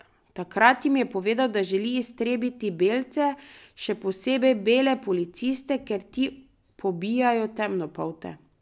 Takrat jim je povedal, da želi iztrebiti belce, še posebej bele policiste, ker ti pobijajo temnopolte.